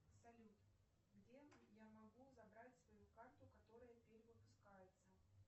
салют где я могу забрать свою карту которая перевыпускается